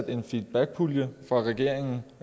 en feedbackpulje af regeringen